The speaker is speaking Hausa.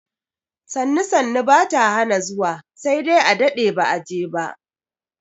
Sannu sannu ba ta hana zuwa sai dai a daɗe ba a je ba.